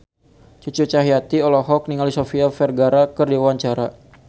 Cucu Cahyati olohok ningali Sofia Vergara keur diwawancara